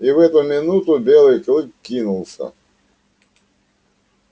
и в эту минуту белый клык кинулся